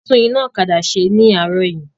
A tún iná ọ̀kadà ṣe ní àárọ̀ yìí